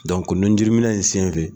Dɔko nunjuruminɛ in senfɛ